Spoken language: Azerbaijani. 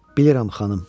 Bilirəm, xanım.